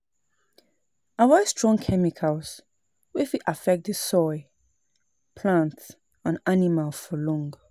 Avoid strong chemicals wey fit affect the soil, plant and animal for long